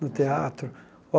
no teatro.